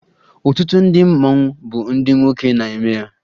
Ọtụtụ ndị mmanwụ bụ ndị nwoke na-eme ya